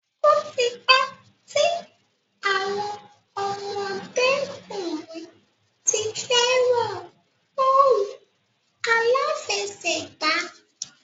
Ó ti pẹ́ tí àwọn ọmọdé-kùnrin ti fẹ́ràn bọ́ọ̀lù aláfẹsẹ̀gbá.